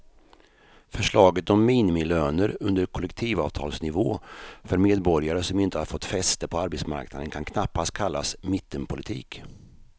Förslaget om minimilöner under kollektivavtalsnivå för medborgare som inte har fått fäste på arbetsmarknaden kan knappast kallas mittenpolitik.